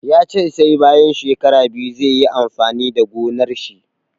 Ya ce sai bayan shekara biyu zai yi amfani da gonar shi.